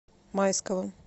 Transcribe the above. майского